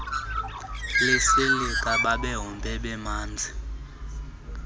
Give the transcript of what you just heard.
lesilika babehombe bemanzi